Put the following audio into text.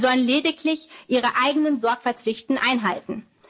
nehmen können. Sie sollen lediglich ihre eigenen Sorgfaltspflichten